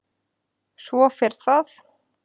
Svo fer það.